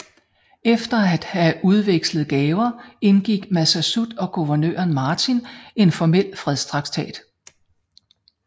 Efter at have udvekslet gaver indgik Massasoit og guvernør Martin en formel fredstraktat